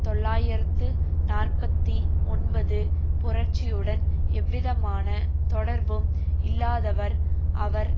தொள்ளாயிரத்து நாற்பத்தி ஒன்பது புரட்சியுடன் எந்தவிதமான தொடர்பும் இல்லாதவர் அவர்